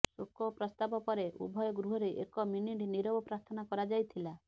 ଶୋକ ପ୍ରସ୍ତାବ ପରେ ଉଭୟ ଗୃହରେ ଏକ ମିନିଟ୍ ନୀରବ ପ୍ରାର୍ଥନା କରାଯାଇଥିଲା